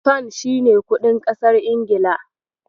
Fan shi ne kuɗin ƙasar Ingila.